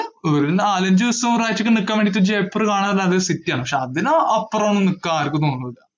ഒരു നാലഞ്ചു ദിവസം ഒരാഴ്ചയൊക്കെ നിക്കാൻ വേണ്ടിയൊക്കെ ജയ്‌പൂർ കാണാൻ നല്ലൊരു city ആണ്. പക്ഷേ അതിനു അപ്പുറം നിക്കാൻ ആർക്കും തോന്നൂല്ല.